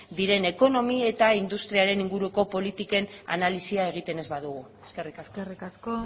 diren ekonomi eta industriaren inguruko politiken analisia egiten ez badugu eskerrik asko eskerrik asko